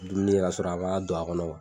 Dumuni ne y'a sɔrɔ a k'a don a kɔnɔ